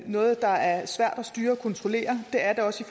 noget der er svært at styre og kontrollere det er det også